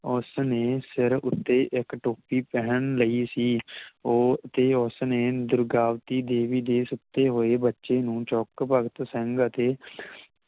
ਉਸਨੇ ਸਿਰ ਉੱਤੇ ਇੱਕ ਟੋਪੀ ਪਹਿਨ ਲਈ ਸੀ ਉਹ ਤੇ ਉਸਨੇ ਦੁਰਗਾਵਤੀ ਦੇਵੀ ਦੇ ਸੱਦੇ ਹੋਏ ਬੱਚੇ ਨੂੰ ਚੁੱਕ ਭਗਤ ਸਿੰਘ ਅਤੇ